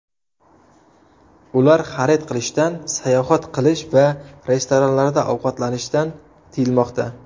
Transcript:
Ular xarid qilishdan, sayohat qilish va restoranlarda ovqatlanishdan tiyilmoqda.